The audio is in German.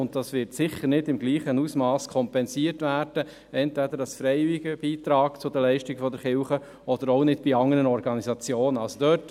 Der Ausfall wird sicher nicht im selben Ausmass durch einen freiwilligen Beitrag an die Kirchen oder an andere Organisationen kompensiert werden.